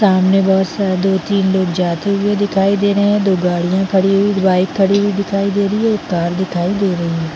सामने बहोत सारा दो तीन लोग जाते हुए दिखाई दे रहे है दो गाड़ियाँ खड़ी हुई बाइक खड़ी हुई दिखाई दे रही है एक कार दिखाई दे रही है।